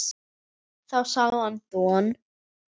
Þá sá hann Don